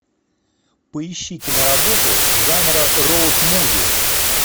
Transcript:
поищи киноработу жанра роуд муви